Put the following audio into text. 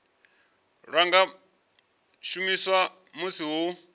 lwa nga shumiswa musi hu